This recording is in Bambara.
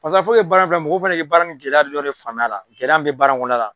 Paseke purke baara in fana mɔgɔw ka dɔ faamuya a gɛlɛya kɔnɔna la, gɛlɛya minnu bɛ baara in kɔnɔna la